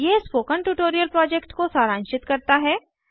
यह spoken tutorial project को सारांशित करता है